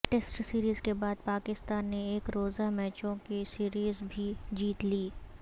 test series کے بعد پاکستان نے ایک روزہ میچوں کی سیریز بھی جیت لی